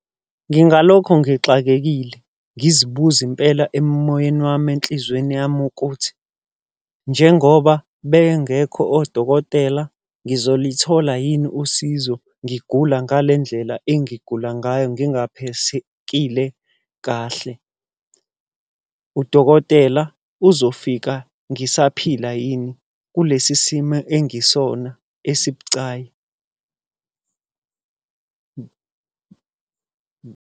Ngingalokhu ngixakekile, ngizibuza mpela emoyeni wami enhlizweni yami ukuthi, njengoba bengekho odokotela, ngizolithola yini usizo, ngigula ngale ndlela engigula ngayo, ngingaphesekile kahle. Udokotela uzofika ngisaphila yini, kulesi simo engisona esibucayi?